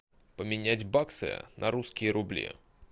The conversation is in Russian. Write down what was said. поменять баксы на русские рубли